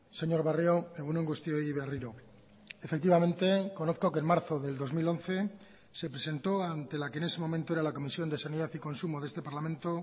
señor barrio egun on guztioi berriro efectivamente conozco que en marzo del dos mil once se presentó ante la que en ese momento era la comisión de sanidad y consumo de este parlamento